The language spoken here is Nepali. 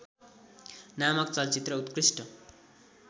नामक चलचित्रमा उत्कृष्ट